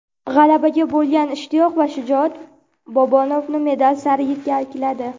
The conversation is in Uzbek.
G‘alabaga bo‘lgan ishtiyoq va shijoat Bobonovni medal sari yetakladi.